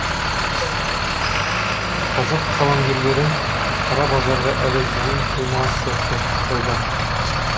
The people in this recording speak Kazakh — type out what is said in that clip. қазақ қаламгерлері қара базарға әлі жуи қоймаған сияқты тәуба